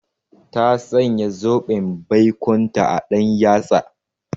Ta sanya zoben baikonta a ɗan yatsa.